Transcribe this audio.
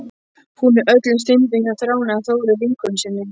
Hún er öllum stundum hjá Þráni eða Þóru vinkonu sinni.